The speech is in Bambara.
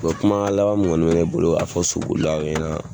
Bɔn kumakan laban min kɔni bɛ ne bolo Ka fɔ sobolilaw ɲɛnɛ.